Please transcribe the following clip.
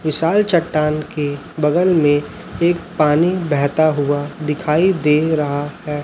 विशाल चट्टान के बगल में एक पानी बहता हुआ दिखाई दे रहा है।